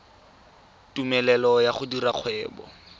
tumelelo ya go dira kgwebo